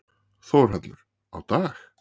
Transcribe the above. Þórhallur: Á dag?